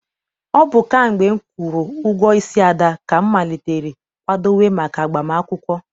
Ọ bụ kamgbe m kwụrụ ụgwọ isi Ada, ka m malitere kwadowe maka agbam akwụkwọ.